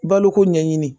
Baloko ɲɛɲini